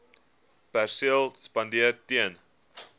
perseel spandeer ten